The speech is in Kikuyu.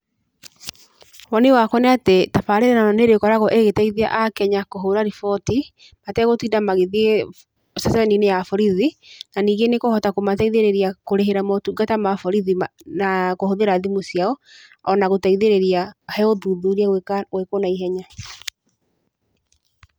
Woni wakwa nĩ atĩ tabarĩra ĩno nĩ ĩrĩkoragwo ĩgĩteithia Akenya kũhũra riboti, ategũtinda magĩthiĩ ceceni-inĩ ya borithi. Na ningĩ nĩ ĩkũhota kũmateithĩrĩria kũrĩhĩra motungata ma borithi na kũhũthĩra thimũ ciao, ona gũteithĩrĩria he ũthuthuria gwĩkwo na ihenya.